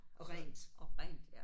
Og rent